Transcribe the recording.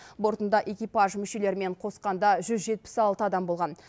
бортында экипаж мүшелерімен қосқанда жүз жетпіс алты адам болған